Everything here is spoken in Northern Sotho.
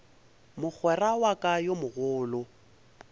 mogwera wa ka yo mogolo